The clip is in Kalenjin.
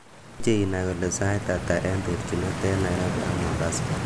imuche inai kole sait ata en terjinet en nairobi ak mombasa